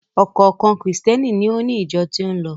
Ọ̀kọ̀ọ̀kan Krìstẹ́ni ni ó ni ìjọ tí ó ń lọ.